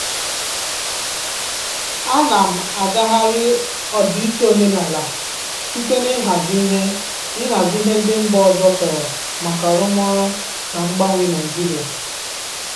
Ana m agagharị ọdịiche omenala site n'ịhazi ihe n'ịhazi ihe ndị mba ọzọ chọrọ maka arụmọrụ na mgbanwe Naịjirịa.